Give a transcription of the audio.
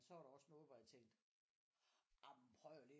Så var der også noget hvor jeg tænkte jamen prøv lige at